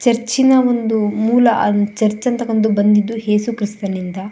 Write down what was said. ಚರ್ಚ್ನನ ಒಂದು ಮೂಲ ಚರ್ಚ್ ಅಂತ ಬಂದಿದು ಯೇಸು ಕ್ರೈಸ್ತನಿಂದ --